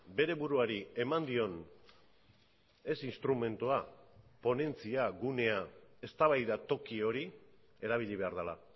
bere buruari eman dion ez instrumentua ponentzia gunea eztabaida toki hori erabili behar dela